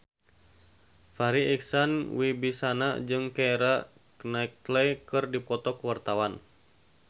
Farri Icksan Wibisana jeung Keira Knightley keur dipoto ku wartawan